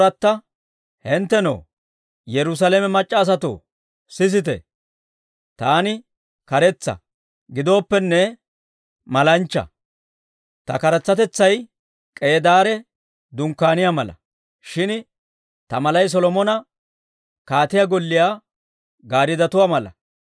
Hinttenoo, Yerusaalame mac'c'a asatoo, sisite, taani karetsa; gidooppenne, malanchcha. Ta karetsatetsay K'eedaare dunkkaaniyaa mala; shin ta malay Solomona kaatiyaa golliyaa gaariddotuwaa mala.